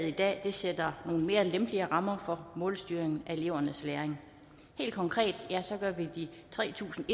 i dag sætter nogle mere lempelige rammer for målstyring af elevernes læring helt konkret gør vi de tre tusind